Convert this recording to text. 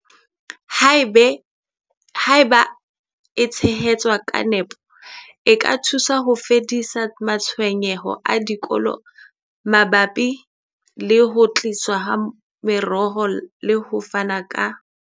Haeba e tshehetswa ka nepo, e ka thusa ho fedisa matshwenyeho a dikolo a mabapi le ho tliswa ha meroho le ho fana ka.